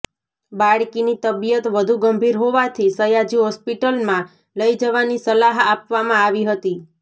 બાળકીની તબિયત વધુ ગંભીર હોવાથી સયાજી હોસ્પટિલમાં લઈ જવાની સલાહ આપવામાં આવી હતી